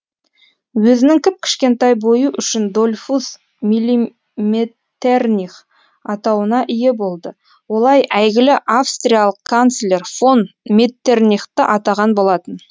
өзінің кіп кішкентай бойы үшін дольфус миллиметтерних атауына ие болды олай әйгілі австриялық канцлер фон меттернихті атаған болатын